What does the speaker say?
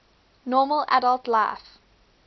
normal adult life